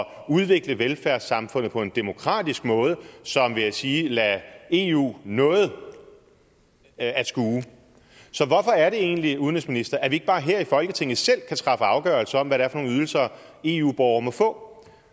udvikle velfærdssamfundet på en demokratisk måde som vil jeg sige lader eu noget at skue så hvorfor er det egentlig udenrigsminister at vi ikke bare her i folketinget selv kan træffe afgørelse om hvad det er for nogle ydelser eu borgere må få